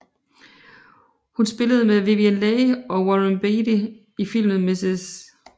Hun spillede med Vivien Leigh og Warren Beatty i filmen Mrs